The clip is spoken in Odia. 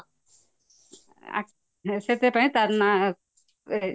ଆ ସେଥିପାଇଁ ତରନା